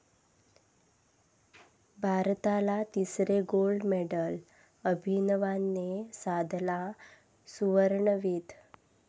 भारताला तिसरे gold medal, अभिनवने साधला 'सुवर्ण'वेध